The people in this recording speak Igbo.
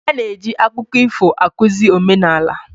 A na-eji akụkọ ifo akụzi omenala.